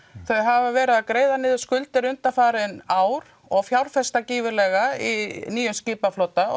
þau hafa verið að greiða niður skuldir undanfarin ár og fjárfesta gífurlega í nýjum skipaflota